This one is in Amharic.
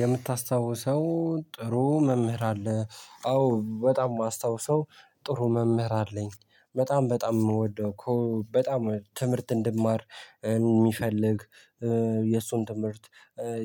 የምታስታውሰው ጥሩ መምህር አለ አዎ በጣም የማስታውሰው ጥሩ መምህር አለኝ በጣም በጣም የምወደው እኮ በጣም ትምህርት እንድማር የሚፈልግ የሱን ትምህርት